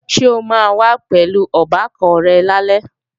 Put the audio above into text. Ṣo máa wá pẹ̀lú ọbàkan rẹ̀ lálẹ́?